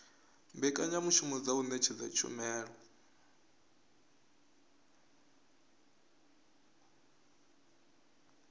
mbekanyamushumo dza u ṅetshedza tshumelo